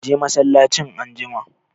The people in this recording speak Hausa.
Ka je masallacin anjima!